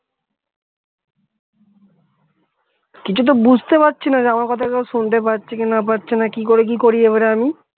কিছু তো বুঝতে পারছি না যে আমার কথাটা শুনতে পাচ্ছে কিনা পাচ্ছে না কি করি কি করি এবার আমি